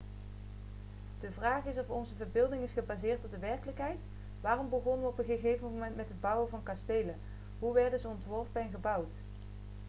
de vraag is of onze verbeelding is gebaseerd op de werkelijkheid waarom begonnen we op een gegeven moment met het bouwen van kastelen hoe werden ze ontworpen en gebouwd